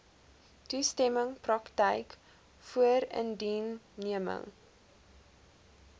toestemming praktyk voorindiensneming